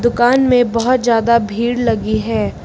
दुकान में बहोत ज्यादा भीड़ लगी है।